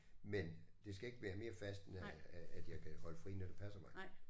Men det skal ikke være mere fast end at at jeg kan holde fri når det passer mig